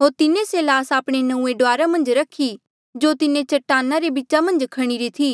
होर तिन्हें से ल्हास आपणे नंऊँऐं डुआरा मन्झ रखी जो तिन्हें चटाना रे बीचा मन्झ खणीरी थी